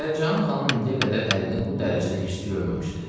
Pəricahan xanım indiyə qədər ərini bu dərəcədə hirsli görməmişdi.